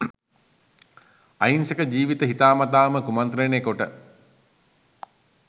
අහිංසක ජීවිත හිතාමතා කුමන්ත්‍රණය කොට